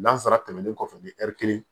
Nansara tɛmɛnen kɔfɛ ni ɛri kelen